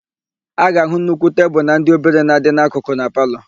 A ga-áhụ̀ nnukwu tebulu etiti na ndị obere na-adị n'akụkụ na palọ.